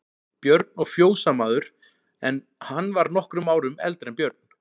Björn og fjósamaður, en hann var nokkrum árum eldri en Björn.